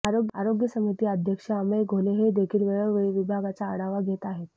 आरोग्य समिती अध्यक्ष अमेय घोले हेदेखील वेळोवळी विभागाचा आढवा घेत आहेत